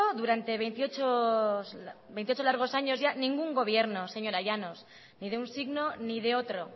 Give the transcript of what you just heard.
durante veintiocho largos años ya ningún gobierno señora llanos ni de un signo ni de otro